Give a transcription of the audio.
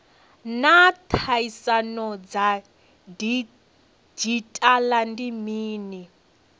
naa tsaino ya didzhithala ndi mini